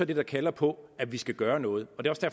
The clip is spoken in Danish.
det der kalder på at vi skal gøre noget